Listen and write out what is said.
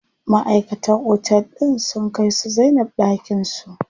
Maʼaikatan otel din sun kai su Zainab ɗakin su.